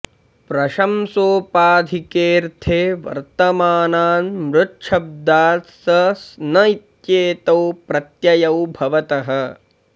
प्रशंसोपाधिके ऽर्थे वर्तमानान् मृच्छब्दात् स स्न इत्येतौ प्रत्ययौ भवतः